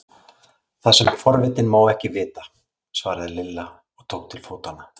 Það sem forvitinn má ekki vita! svaraði Lilla og tók til fótanna.